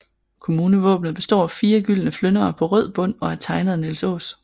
Kommunevåbnet består af fire gyldne flyndere på rød bund og er tegnet af Nils Aas